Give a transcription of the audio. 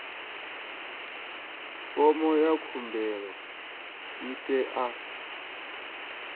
fomo ya khumbelo i tea